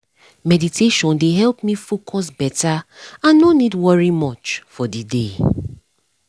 meditation dey help me focus beta and no need worry much for the day